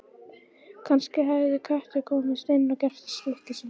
Kannski hafði köttur komist inn og gert stykki sín.